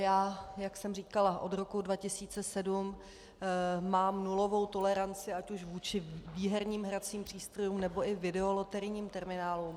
Já, jak jsem říkala, od roku 2007 mám nulovou toleranci ať už vůči výherním hracím přístrojům, nebo i videoloterijním terminálům.